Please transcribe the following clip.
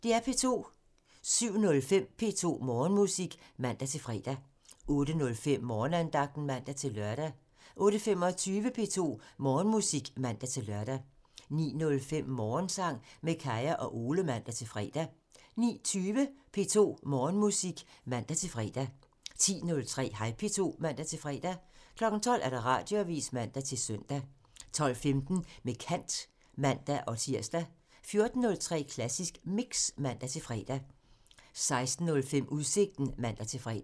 07:05: P2 Morgenmusik (man-fre) 08:05: Morgenandagten (man-lør) 08:25: P2 Morgenmusik (man-lør) 09:05: Morgensang med Kaya og Ole (man-fre) 09:20: P2 Morgenmusik (man-fre) 10:03: Hej P2 (man-fre) 12:00: Radioavisen (man-søn) 12:15: Med kant (man-tir) 14:03: Klassisk Mix (man-fre) 16:05: Udsigten (man-fre)